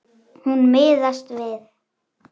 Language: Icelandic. Hún miðast við.